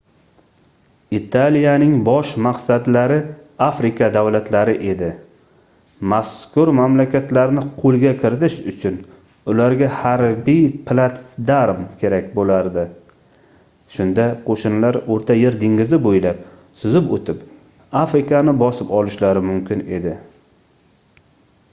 italiyaning bosh maqsadlari afrika davlatlari edi mazkur mamlakatlarni qoʻlga kiritish uchun ularga harbiy platsdarm kerak boʻlardi shunda qoʻshinlar oʻrta yer dengizi boʻylab suzib oʻtib afrikani bosib olishlari mumkin edi